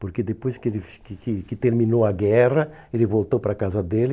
Porque depois que ele que que que terminou a guerra, ele voltou para a casa dele.